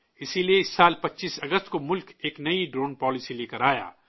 اسی لیے اس سال 25 اگست کو ملک ایک نئی ڈرون پالیسی لیکر آیا